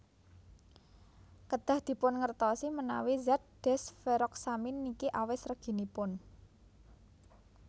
Kedah dipun ngertosi menawi zat desferoxamine niki awis reginipun